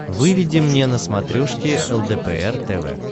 выведи мне на смотрешке лдпр тв